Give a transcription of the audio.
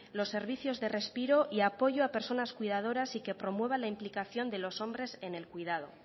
los servicios de respiro y apoyo a personas cuidadoras y que promueva la implicación de los hombres en el cuidado